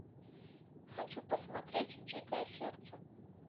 хочу посмотреть дикое сердце